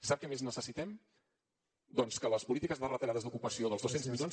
sap què més necessitem doncs que de les polítiques retallades d’ocupació els dos cents milions